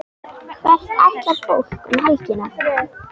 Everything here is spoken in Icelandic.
Hvert ætlar fólk um helgina?